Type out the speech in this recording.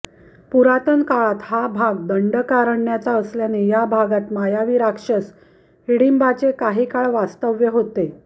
पुरातन काळात हा भाग दंडकारण्याचा असल्याने या भागात मायावी राक्षस हिडींबाचे काही काळ वास्तव्य होते